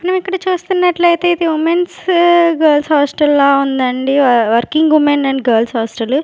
మనం ఇక్కడ చూస్తున్నట్లైతే ఇది ఉమెన్స్ గర్ల్స్ హాస్టల్ లా ఉందండి working women and girls hostel .